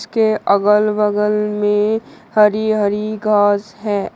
के अगल बगल में हरी हरी घास है।